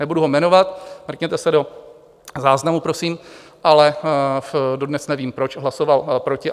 Nebudu ho jmenovat, mrkněte se do záznamu prosím, ale dodnes nevím, proč hlasoval proti.